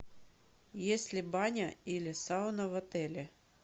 есть ли баня или сауна в отеле